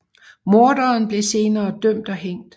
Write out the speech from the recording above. Morderen blev senere dømt og hængt